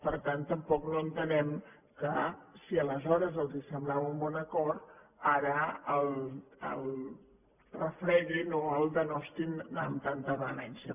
per tant tampoc no entenem que si aleshores els semblava un bon acord ara el refreguin o l’injuriïn amb tanta vehemència